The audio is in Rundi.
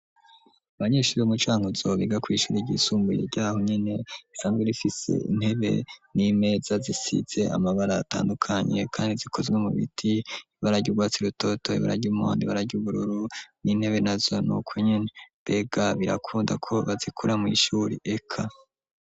Abanyeshuri umucanka uzobiga kw'ishuri igisumbuye ryaho nyene isanzwe rifise intebe n'imeza zisize amabara atandukanye, kandi zikozwe mu biti bararya urwatsi rutotoye ,bararya umondi ,bararya ubururu n'intebe na zo nuko nyene mbega birakundako bazikura mw'ishuri eka.